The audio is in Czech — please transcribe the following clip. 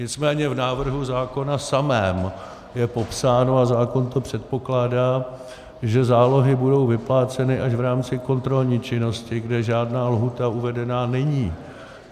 Nicméně v návrhu zákona samém je popsáno, a zákon to předpokládá, že zálohy budou vypláceny až v rámci kontrolní činnosti, kde žádná lhůta uvedena není.